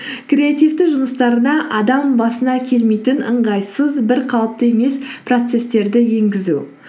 креативті жұмыстарына адам басына келмейтін ыңғайсыз бір қалыпты емес процесстерді енгізу